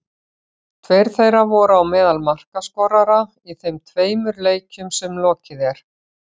Tveir þeirra voru á meðal markaskorara í þeim tveimur leikjum sem lokið er.